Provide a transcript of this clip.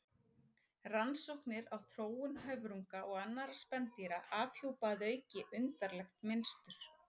Rannsóknir á þróun höfrunga og annarra spendýra afhjúpa að auki undarlegt mynstur.